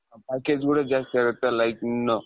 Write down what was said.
packageಗಳು ಜಾಸ್ತಿ ಆಗುತ್ತೆ like ಇನ್ನು